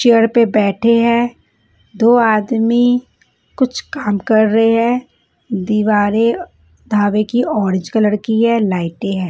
Chair पे बैठे हैं दो आदमी कुछ काम कर रहे हैं दीवारें धाबे की ऑरेंज कलर की है लाइटी हैं।